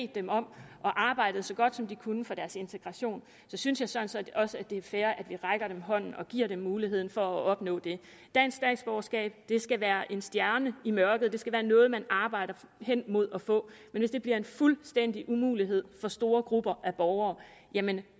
dem om og arbejdet så godt som de kunne for deres integration så synes jeg sådan set også det er fair at vi rækker dem en hånd og giver dem muligheden for at opnå det dansk statsborgerskab skal være en stjerne i mørket det skal være noget man arbejder hen imod at få men hvis det bliver en fuldstændig umulighed for store grupper af borgere jamen